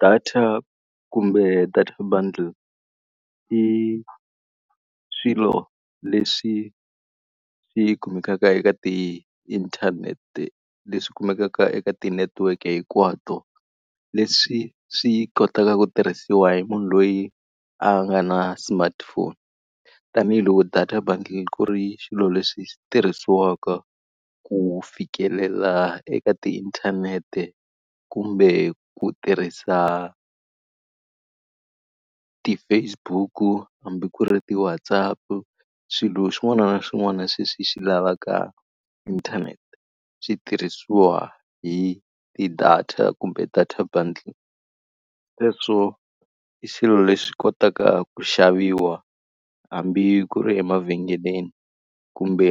Data kumbe data bundle i swilo leswi swi kumekaka eka tiinthanete, leswi kumekaka eka ti-network hinkwato, leswi swi kotaka ku tirhisiwa hi munhu loyi a nga na smartphone. Tanihi loko data bundle ku ri swilo leswi tirhisiwaka ku fikelela eka tiinthanete kumbe ku tirhisa ti-Facebook-u hambi ku ri ti-WhatsApp, swilo swin'wana na swin'wana sweswi swi lavaka inthanete xi tirhisiwa hi ti-data kumbe data bundle. Sweswo i xilo lexi kotaka ku xaviwa hambi ku ri emavhengeleni kumbe